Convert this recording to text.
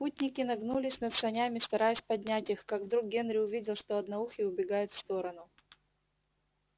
путники нагнулись над санями стараясь поднять их как вдруг генри увидел что одноухий убегает в сторону